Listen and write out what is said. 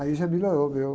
Aí já melhorou o meu